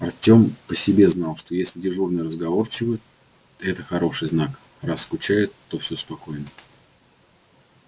артем по себе знал что если дежурные разговорчивы это хороший знак раз скучают то все спокойно